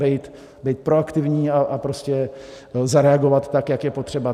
Být proaktivní a prostě zareagovat tak, jak je potřeba.